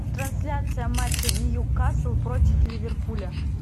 трансляция матча ньюкасл против ливерпуля